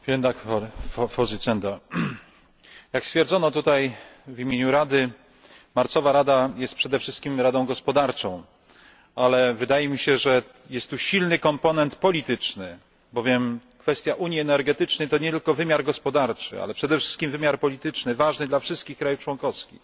Pani Przewodnicząca! Jak stwierdzono tutaj w imieniu Rady, marcowa rada jest przede wszystkim radą gospodarczą, ale wydaje mi się, że jest tu silny komponent polityczny, bowiem kwestia unii energetycznej to nie tylko wymiar gospodarczy, ale przede wszystkim wymiar polityczny, ważny dla wszystkich państw członkowskich.